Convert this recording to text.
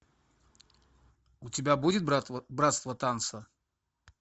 у тебя будет братство танца